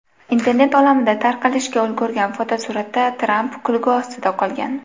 Internet olamida tarqalishga ulgurgan fotosuratda Tramp kulgi ostida qolgan.